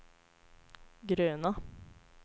gröna